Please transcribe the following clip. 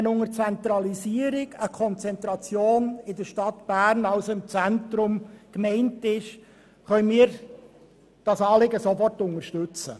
Wenn mit Zentralisierung eine Konzentration in der Stadt Bern, also im Zentrum, gemeint ist, können wir das Anliegen sofort unterstützen.